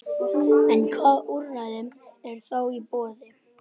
En hvaða úrræði eru þá í boði?